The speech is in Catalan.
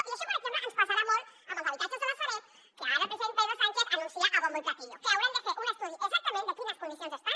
i això per exemple ens passarà molt amb els habitatges de la sareb que ara el president pedro sánchez anuncia a bombo i platillo que haurem de fer un estudi exactament per saber en quines condicions estan